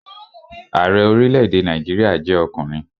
Ààrẹ orílẹ̀-èdè Nàìjíríà jẹ́ ọkùnrin